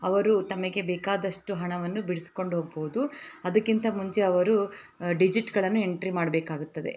ಅವರು ತಮಗೆ ಬೇಕಾದಷ್ಟು ಹಣವನ್ನು ಬಿಡಿಸಿಕೊಂಡು ಹೋಗಬಹುದು ಅದಕ್ಕಿಂತ ಮುಂಚೆ ಅವರು ಡಿಜಿಟ್ಗಳನ್ನು ಎಂಟ್ರಿ ಮಾಡಬೇಕಾಗುತ್ತದೆ .